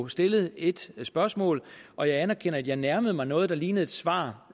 stillet et spørgsmål og jeg anerkender at jeg nærmede mig noget der lignede et svar